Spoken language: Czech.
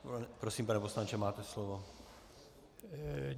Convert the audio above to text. Prosím, pane poslanče, máte slovo.